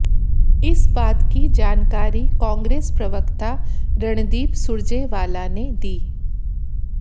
इस बात की जानकारी कांग्रेस प्रवक्ता रणदीप सुरजेवाला ने दी